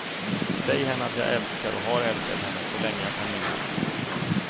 Säg henne att jag älskar och har älskat henne så länge jag kan minnas.